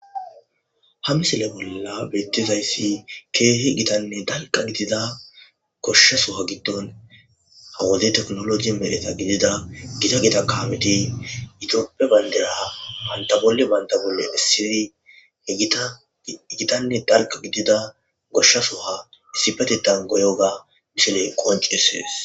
Ha missile bolla bettizayiss kehi gitanne dalga gidida goshsha sohowua giddon ha wode technology ehida gita gita kammeti Ethiopia bandira banata boli banata boli essidi he gitanne dalga gidida goshsha sohowua issipeteththan goyiyoga misiley qoncishshes